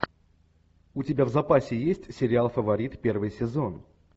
у тебя в запасе есть сериал фаворит первый сезон